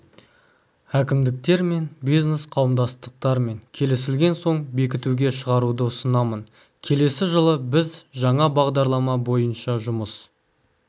әкімдіктермен бизнес қауымдастықтармен келісілген соң бекітуге шығаруды ұсынамын келесі жылы біз жаңа бағдарлама бойынша жұмыс